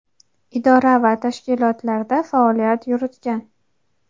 idora va tashkilotlarda faoliyat yuritgan.